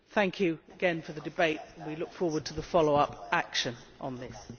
Thank you again for the debate and we look forward to the follow up action on this.